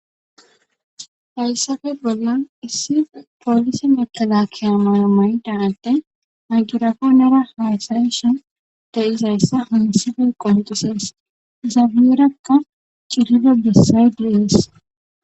hayssafe bollan issi poolisi mekalakiya mayo mayida adey mayigirafaforera haasayish de'izayssa hayisa isife qoncisees zaabirakka cililo bessayd de'is